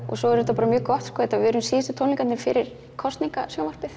og svo er þetta mjög gott við erum síðustu tónleikarnir fyrir